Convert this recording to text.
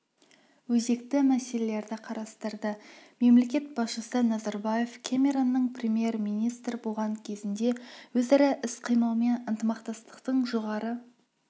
өзекті мәселелерді қарастырды мемлекет басшысы назарбаев кэмеронның премьер-министр болған кезінде өзара іс-қимыл мен ынтымақтастықтың жоғары